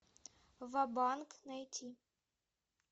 ва банк найти